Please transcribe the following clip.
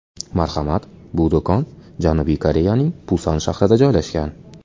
Marhamat, bu do‘kon Janubiy Koreyaning Pusan shahrida joylashgan.